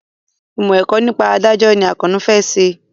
Ìmọ̀ ẹ̀kọ́ nípa ìdájọ́ ni Àkànó fẹ́ ṣe